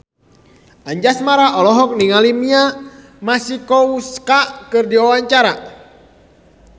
Anjasmara olohok ningali Mia Masikowska keur diwawancara